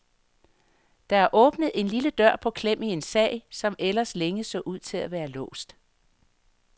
Der er åbnet en lille dør på klem i en sag, som ellers længe så ud til at være låst.